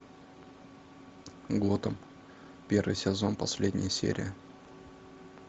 готэм первый сезон последняя серия